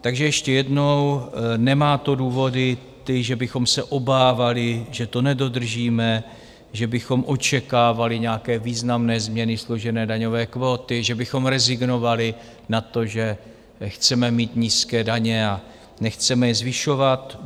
Takže ještě jednou: nemá to důvody ty, že bychom se obávali, že to nedodržíme, že bychom očekávali nějaké významné změny složené daňové kvóty, že bychom rezignovali na to, že chceme mít nízké daně a nechceme je zvyšovat.